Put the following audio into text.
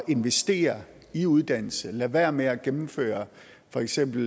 investere i uddannelse lade være med at gennemføre for eksempel